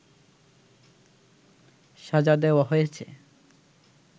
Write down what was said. সাজা দেওয়া হয়েছে